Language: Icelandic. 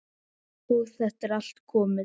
Og þetta er allt komið.